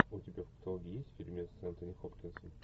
у тебя в каталоге есть фильмец с энтони хопкинсом